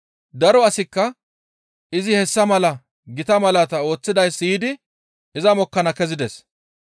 Daro asikka izi hessa mala gita malaata ooththidayssa siyidi iza mokkana kezides.